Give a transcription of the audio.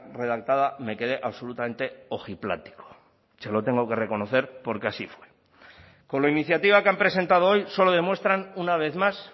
redactada me quede absolutamente ojiplático se lo tengo que reconocer porque así fue con la iniciativa que han presentado hoy solo demuestran una vez más